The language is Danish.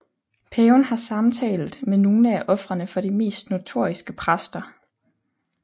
Paven har samtalt med nogle af ofrene for de mest notoriske præster